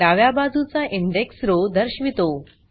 डाव्या बाजूचा index row दर्शवितो